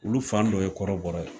Olu fan dɔ ye kɔrɔbɔrɔ ye